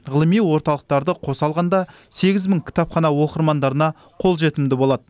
ғылыми орталықтарды қоса алғанда сегіз мың кітапхана оқырмандарына қолжетімді болады